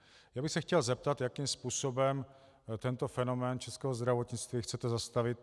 Já bych se chtěl zeptat, jakým způsobem tento fenomén českého zdravotnictví chcete zastavit.